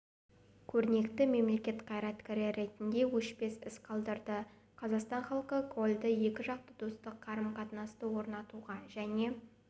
көрнекті мемлекет қайраткері ретінде өшпес із қалдырды қазақстан халқы кольді екіжақты достық қарым-қатынасты орнатуға және